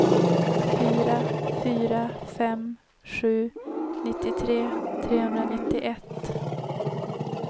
fyra fyra fem sju nittiotre trehundranittioett